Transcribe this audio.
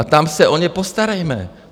A tam se o ně postarejme.